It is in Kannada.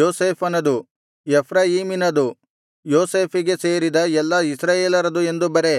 ಯೋಸೇಫಿನದು ಎಫ್ರಾಯೀಮಿನದು ಯೋಸೇಫಿಗೆ ಸೇರಿದ ಎಲ್ಲಾ ಇಸ್ರಾಯೇಲರದು ಎಂದು ಬರೆ